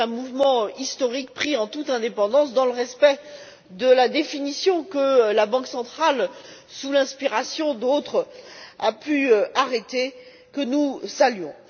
C'est un mouvement historique, engagé en toute indépendance, dans le respect de la définition, que la Banque centrale, sous l'inspiration d'autres, a pu arrêter, et que nous saluons.